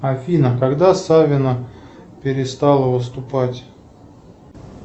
афина когда савина перестала выступать